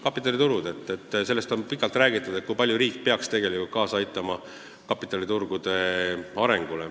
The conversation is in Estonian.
Kapitaliturud – sellest on pikalt räägitud, kui palju riik peaks kaasa aitama kapitaliturgude arengule.